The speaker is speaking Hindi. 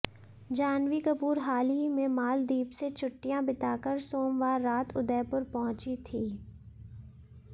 जाह्नवी कपूर हाल ही में मालदीप से छुट्टियां बिताकर सोमवार रात उदयपुर पहुंची थी